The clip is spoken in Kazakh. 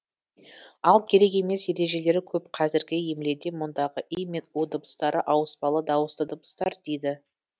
ал керек емес ережелері көп қазіргі емледе мұндағы и мен у дыбыстары ауыспалы дауысты дыбыстар дейді